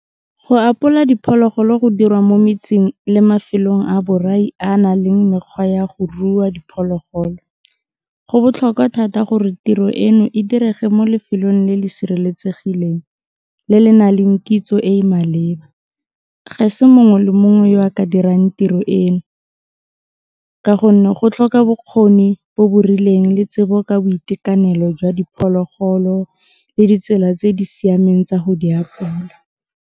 Go apola diphologolo go dirwa mo metseng le mafelong a borai a na leng mekgwa ya go rua diphologolo, go botlhokwa thata gore tiro eno e direge mo lefelong le le sireletsegileng, le le na leng kitso e e maleba, ga se mongwe le mongwe yo a ka dirang tiro eno ka gonne go tlhoka bokgoni bo bo rileng le tsebo ka boitekanelo jwa diphologolo le ditsela tse di siameng tsa go di apola.